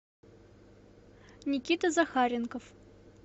никита захаренков